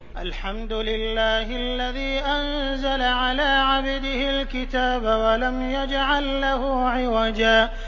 الْحَمْدُ لِلَّهِ الَّذِي أَنزَلَ عَلَىٰ عَبْدِهِ الْكِتَابَ وَلَمْ يَجْعَل لَّهُ عِوَجًا ۜ